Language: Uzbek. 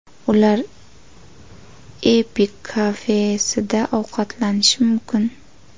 Ular Epic Cafe kafesida ovqatlanishi mumkin.